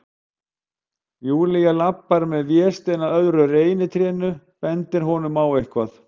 Júlía labbar með Véstein að öðru reynitrénu, bendir honum á eitthvað.